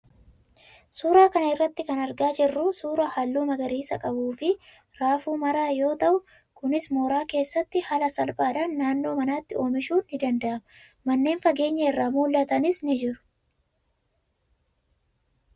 Suuraa kana irraa kan argaa jirru suuraa halluu magariisa qabuu fi raafuu maraa yoo ta'u, kunis mooraa keessatti haala salphaadhaan naannoo manaatti oomishuun ni danda'ama. Manneen fageenya irraa mul'atanis ni jiru.